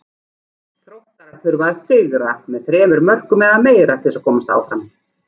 Þróttarar þurfa að sigra með þremur mörkum eða meira til að komast áfram.